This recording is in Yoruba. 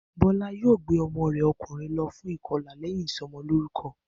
Bó̩lá yóò gbé o̩mo̩ rè̩ o̩kùnrin lo̩ fún ìko̩là lé̩yìn ìso̩mo̩lórúko̩